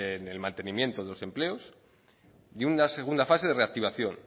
en el mantenimiento de los empleos y una segunda fase de reactivación